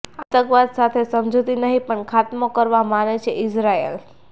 આતંકવાદ સાથે સમજૂતી નહીં પણ ખાત્મો કરવામાં માને છે ઈઝરાયલ